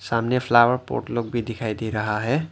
सामने flower pot लोग भी दिखाई दे रहा है।